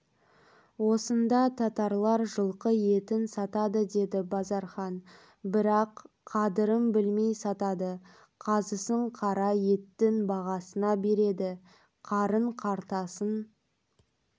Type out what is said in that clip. осында татарлар жылқы етін сатады деді базархан бірақ қадырын білмей сатады қазысын қара еттің бағасына береді қарын қартасын